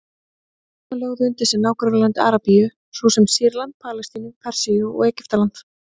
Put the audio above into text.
Múslímar lögðu undir sig nágrannalönd Arabíu, svo sem Sýrland, Palestínu, Persíu og Egyptaland.